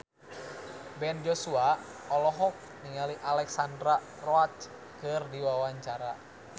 Ben Joshua olohok ningali Alexandra Roach keur diwawancara